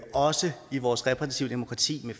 også i vores repræsentative